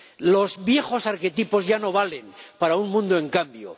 Los viejos arquetipos ya no valen para un mundo en cambio.